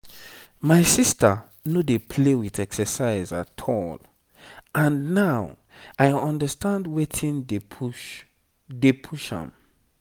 my sister no dey play with exercise at all and now i understand wetin dey push dey push am.